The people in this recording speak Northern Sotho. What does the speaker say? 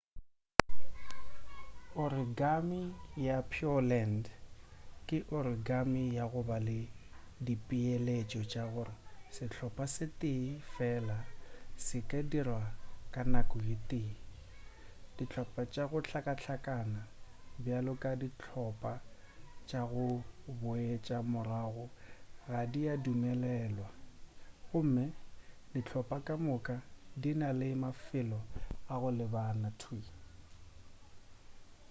origami ya pureland ke origami ya go ba le dipeeletšo tša gore sehlopa se tee fela se ka dirwa ka nako ye tee dihlopa tša go hlakahlakana bjalo ka dihlopa tša go boetša morago ga di adumelelwa gomme dihlopa ka moka di na le mafelo a go lebana thwii